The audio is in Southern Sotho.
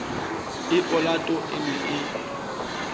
e olato e ne e